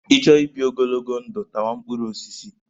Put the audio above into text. Ị chọọ ibi ogologo ndụ, tawa mkpụrụ osisi.